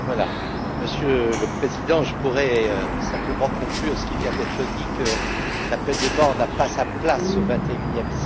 Monsieur le Président, je pourrais simplement conclure ce qui vient d'être dit, à savoir que la peine de mort n'a pas sa place au vingt et unième siècle.